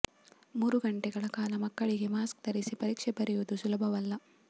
ಮೂರು ಗಂಟೆಗಳ ಕಾಲ ಮಕ್ಕಳಿಗೆ ಮಾಸ್ಕ್ ಧರಿಸಿ ಪರೀಕ್ಷೆ ಬರೆಯುವುದು ಸುಲಭವಲ್ಲ